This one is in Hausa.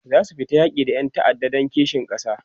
zasu fita yaki da Ƴan ta'adda Dan kishin kasa